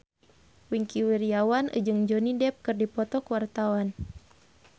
Wingky Wiryawan jeung Johnny Depp keur dipoto ku wartawan